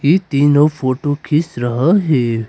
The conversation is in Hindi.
ये तीनों फोटो खींच रहा है।